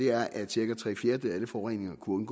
er at cirka tre fjerdedele af alle forureninger kunne